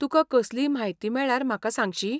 तुका कसलीय म्हायती मेळ्ळ्यार म्हाका सांगशी ?